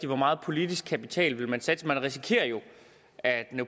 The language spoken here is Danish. hvor meget politisk kapital man vil satse man risikerer jo at den